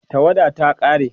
tawadar ta ƙare